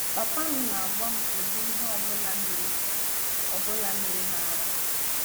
Papa m na-agwa m ụdị ihe ọ bụla mere ọ bụla mere m ara.